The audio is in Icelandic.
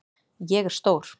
Ég er stór.